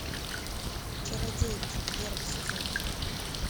чародейки первый сезон